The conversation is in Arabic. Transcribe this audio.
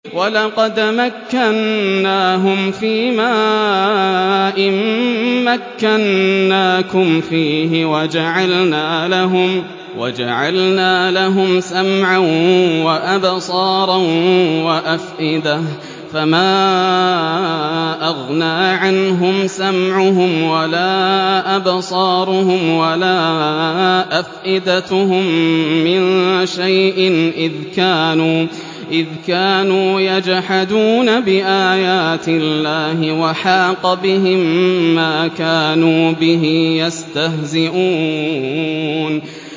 وَلَقَدْ مَكَّنَّاهُمْ فِيمَا إِن مَّكَّنَّاكُمْ فِيهِ وَجَعَلْنَا لَهُمْ سَمْعًا وَأَبْصَارًا وَأَفْئِدَةً فَمَا أَغْنَىٰ عَنْهُمْ سَمْعُهُمْ وَلَا أَبْصَارُهُمْ وَلَا أَفْئِدَتُهُم مِّن شَيْءٍ إِذْ كَانُوا يَجْحَدُونَ بِآيَاتِ اللَّهِ وَحَاقَ بِهِم مَّا كَانُوا بِهِ يَسْتَهْزِئُونَ